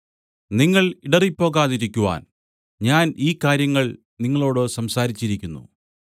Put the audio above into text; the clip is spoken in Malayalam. നിങ്ങൾ ഇടറിപ്പോകാതിരിക്കുവാൻ ഞാൻ ഈ കാര്യങ്ങൾ നിങ്ങളോടു സംസാരിച്ചിരിക്കുന്നു